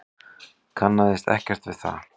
Kannaðist ekkert við það.